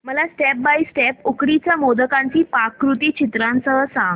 मला step by step उकडीच्या मोदकांची पाककृती चित्रांसह सांग